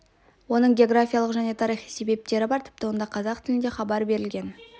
оның географиялық және тарихи себептері бар тіпті онда қазақ тілінде хабар берілген